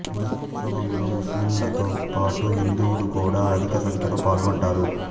ఉరుసు ఉత్సవంలో ముస్లింలతో పాటు హిందువులు కూడా అధిక సంఖ్యలో పాల్గొంటారు